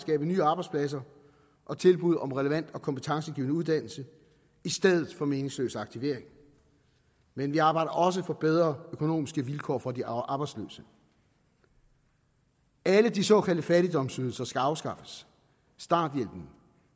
nye arbejdspladser og tilbud om relevant og kompetencegivende uddannelse i stedet for meningsløs aktivering men vi arbejder også for bedre økonomiske vilkår for de arbejdsløse alle de såkaldte fattigdomsydelser skal afskaffes starthjælpen